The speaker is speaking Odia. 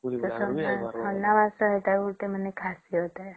ସେଟା ନାଇଁ ସେଟା ଗୋଟେ ଖାସୀୟତ ହେ